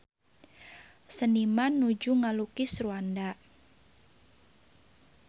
Seniman nuju ngalukis Rwanda